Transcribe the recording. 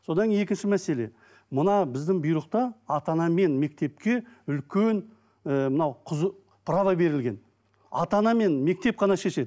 содан екінші мәселе мына біздің бұйрықта ата анамен мектепке үлкен ы мынау права берілген ата ана мен мектеп қана шешеді